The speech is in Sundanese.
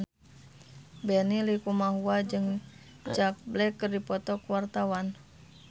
Benny Likumahua jeung Jack Black keur dipoto ku wartawan